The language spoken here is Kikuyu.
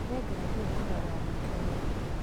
Nĩngathiĩ kũrora nduka iyo.